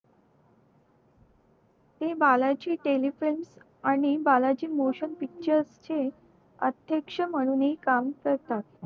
ते बाळा चे आणि बाळा चे motion picture चे अध्यक्ष म्हणून हि काम करतात